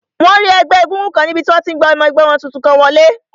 Wọ́n rí ẹgbẹ́ égúngún kan níbi tí wọ́n ti n gba ọmọ ẹgbẹ́ wọn tuntun kan wọlé